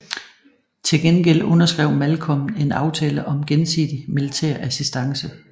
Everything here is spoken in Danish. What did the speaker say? Til gengæld underskrev Malcolm en aftale om gensidig militær assistance